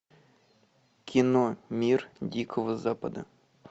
кино мир дикого запада